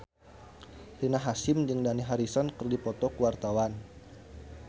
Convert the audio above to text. Rina Hasyim jeung Dani Harrison keur dipoto ku wartawan